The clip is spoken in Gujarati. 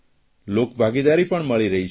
લોકભાગીદારી પણ મળી રહી છે